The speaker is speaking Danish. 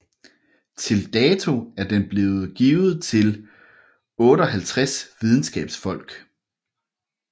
Til dato er den blevet givet til 58 videnskabsfolk